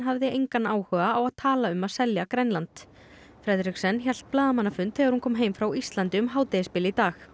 hefði engan áhuga á að tala um að selja Grænland hélt blaðamannafund þegar hún kom heim frá Íslandi um hádegisbil í dag